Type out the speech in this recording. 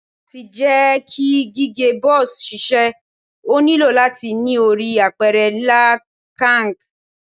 Lati jẹ ki gige buzz ṣiṣẹ, o nilo lati ni ori apẹrẹ nla kanq